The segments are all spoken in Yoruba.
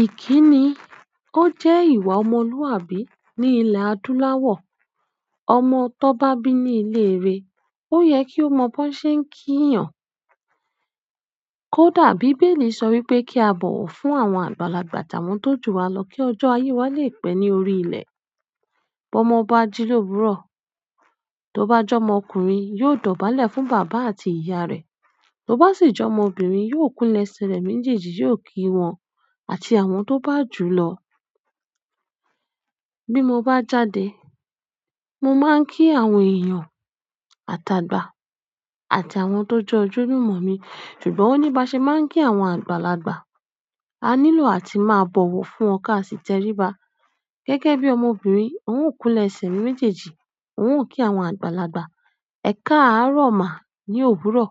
Ìkíni ó jẹ́ ìwà ọmọlúwàbí ní ilẹ̀ adúláwọ̀. Ọmọ tó bá bí ní ilé re, ó yẹ kí ó mọ bó ṣe ń kí èèyàn. Kódà bí Bẹ́ẹ̀lì sọ wípé kí a bọ̀wọ̀ fún àwọn àgbàlagbà tàwọn tó jù wa lọ kí ọjọ́ ayé wa lè pẹ́ ní orí ilẹ̀. Bọ́mọ bá jí l'òwúrọ̀, tó bá jọ́mọ ọkùnrin yóò dọ̀bálẹ̀ fún bàbá àti ìyá rẹ̀, tó bá sì jọ́mọ obìnrin, yóò kulẹ̀ ẹsẹ̀ rẹ̀ méjèèjì yóò kí wọn àti àwọn tó bá jù lọ. Bí mo bá jáde, mo máa ń kí àwọn èèyàn, àtàgbà àti àwọn tó jẹ ojúlumọ̀ mi, ṣùgbọ́n oníbaṣe máa ń kí àwọn àgbàlagbà, a nílò àti máa bọ̀wọ̀ fún wọn ká sì tẹríba. Gẹ́gẹ́ bí ọmọbìnrin, n ó kulẹ̀ ẹsẹ̀ mi méjèèjì, n ó kí àwọn àgbàlagbà, ẹ̀kaárọ̀ ma ní òwúrọ̀,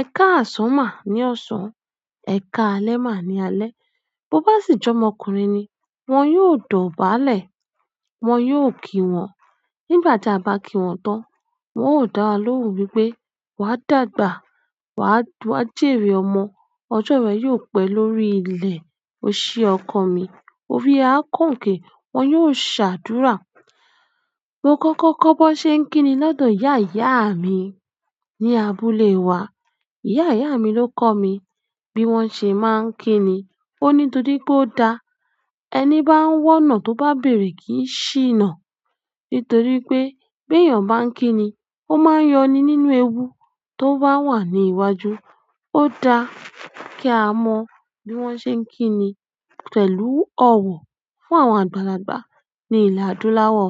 ẹ̀kaàsán ma ní ọ̀sán, ẹ̀kalẹ́ ma ní alẹ́. Bo bá sì jọ́mọ ọkùnrin ni, wọn yóò dọ̀bálẹ̀, wọn yóò kí wọn. Nígbà tí a bá kí wọn tán, wọn ó dá wa lóhùn wípé wa dàgbà, wa jèrè ọmọ, ọjọ́ rẹ yóò pẹ́ lórí ilẹ̀. O ṣe ọkọ mi, orí ẹ a kànǹkẹ́, wọn yóò ṣàdúrà. Mo kọ́kọ́ kọ́ bó ṣe ń kíni lọ́dọ̀ ìyá ìyá mi ní abúlé wa. Ìyá ìyá mi ló kọ́ mi bí wọ́n ṣe máa ń kíni. Ó ní torí pé ó da ẹni bá ń wọ́nà tó bá bèrè kí í ṣìnà. Nítorí pé bí èèyàn bá ń kíni, ó máa ń yọni nínú ewu tó bá wà ní iwájú. Ó da kí a mọ bí wọ́n ṣe ń kíni pẹ̀lú ọ̀wọ̀ fún àwọn àgbàlagbà ní ilẹ̀ adúláwọ̀.